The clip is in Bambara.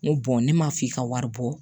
N ko ne m'a f'i ka wari bɔ